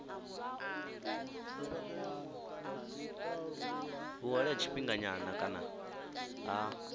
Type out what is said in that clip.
vhuhole ha tshifhinganyana kana ha